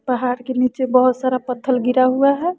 पहाड़ के नीचे बहोत सारा पत्थल गिरा हुआ है।